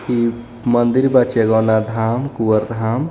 इ मंदिर बा चेलोना धाम कुंवर धाम.